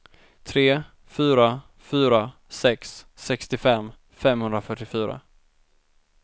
tre fyra fyra sex sextiofem femhundrafyrtiofyra